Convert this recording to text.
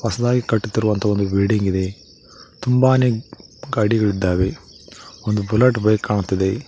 ಹೊಸದಾಗಿ ಕಟ್ಟುತ್ತಿರುವ ಒಂದು ಬಿಲ್ಡಿಂಗ್ ಇದೆ ತುಂಬಾನೇ ಗಾಡಿಗಳಿದ್ದಾವೆ ಒಂದು ಬುಲೆಟ್ ಬೈಕ್ ಕಾಣುತ್ತಿದೆ.